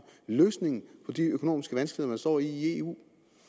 løsningen på de økonomiske vanskeligheder man står i i eu